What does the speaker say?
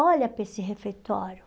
Olha para esse refeitório.